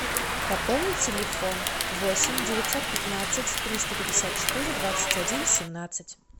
пополни телефон восемь девятьсот пятнадцать триста пятьдесят четыре двадцать один семнадцать